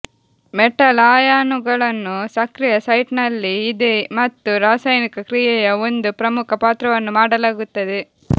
metal ಅಯಾನುಗಳನ್ನು ಸಕ್ರಿಯ site ನಲ್ಲಿ ಇದೆ ಮತ್ತು ರಾಸಾಯನಿಕ ಕ್ರಿಯೆಯ ಒಂದು ಪ್ರಮುಖ ಪಾತ್ರವನ್ನು ಮಾಡಲಾಗುತ್ತದೆ